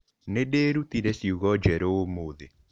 Nĩ ndĩrutire ciugo njerũ ũmũthĩ.